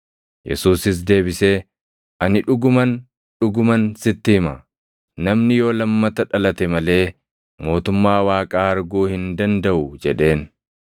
Yesuusis deebisee, “Ani dhuguman, dhuguman sitti hima; namni yoo lammata dhalate malee mootummaa Waaqaa arguu hin dandaʼu” jedheen.